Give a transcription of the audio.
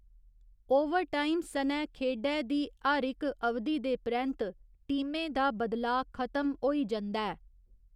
Overtime सनै खेढै दी हर इक अवधि दे परैंत्त टीमें दा बदलाऽ खत्म होई जंदा ऐ।